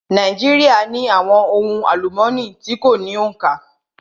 Nàíjíríà ní àwọn ohun àlúmooni tí kò ní òǹkà.